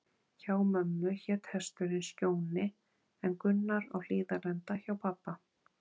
Hjá mömmu hét hesturinn Skjóni, en Gunnar á Hlíðarenda hjá pabba.